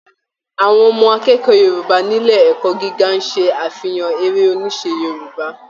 Àwọn ọmọ akẹ́ẹ̀kọ́ Yorùbá nílé ẹ̀kọ́ gíga n ṣe afihan eré oníṣe Yorùbá.